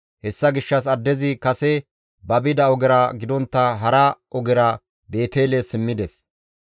Hessa gishshas addezi kase ba bida ogera gidontta hara ogera Beetele simmides.